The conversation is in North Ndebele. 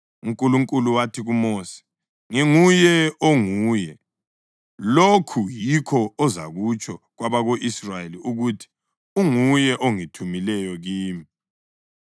UNkulunkulu wathi kuMosi, “ Nginguye Onguye. Lokhu yikho ozakutsho kwabako-Israyeli ukuthi, ‘ Unguye ungithumile kini.’ ”